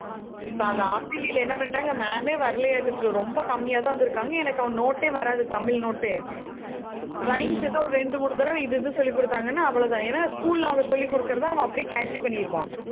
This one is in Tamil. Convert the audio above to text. இப்ப அந்த half yearly ல என்ன பண்ணிட்டாங்க, ma'am ஏ வரலையாட்டது. ரொம்ப கம்மியாதான் வந்திருக்காங்க. எனக்கு அவன் note ஏ வராது தமிழ் note ஏ rhymes ஏதோ ஒரு இரண்டு, மூணு தடவை இது இது சொல்லிக் கொடுத்தாங்கன்னா அவ்வளவுதான். ஏன்னா school ல அவங்க சொல்லிக் கொடுக்கிறது அவன் அப்படியே catcy பண்ணிடுவான்.